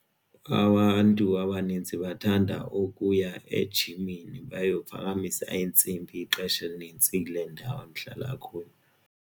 Abantu abanintsi bathanda ukuya ejimini bayo phakamisa iintsimbi ixesha elinintsi kule ndawo ndihlala kuyo.